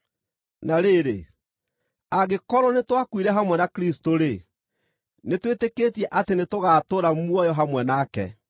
Na rĩrĩ, angĩkorwo nĩtwakuire hamwe na Kristũ-rĩ, nĩtwĩtĩkĩtie atĩ nĩtũgatũũra muoyo hamwe nake.